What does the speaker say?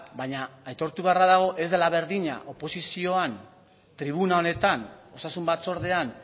baina aitortu beharra dago ez dela berdina oposizioan tribuna honetan osasun batzordean